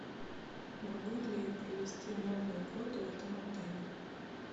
могу ли я провести новый год в этом отеле